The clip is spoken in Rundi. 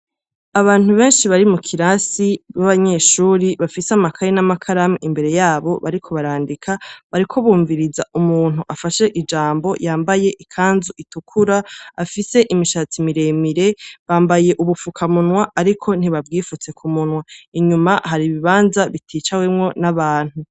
Abantu benshi bari mu kirasi, b'abanyeshure, bafise amakaye n'amakaramu imbere yabo bariko barandika, bariko bumviriza umuntu afashe ijambo yambaye ikanzu itukuru, afise imishatsi miremire. Bambaye ubufukamunwa ariko ntibabwifutse ku munwa. Inyuma hari ibibanza biticawemwo n'abantu.